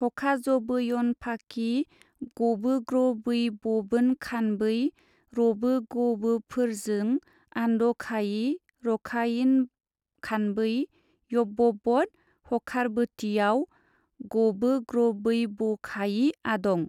हखाजबोयनफाखि गबोग्रबैबबोनखानबै, रबोगबोफोरजों आन्दखायि रखायिनखानबै-यबबब्द हखारबोतिआव गबोग्रबैबखायि आदं ।